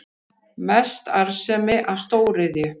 Mest arðsemi af stóriðju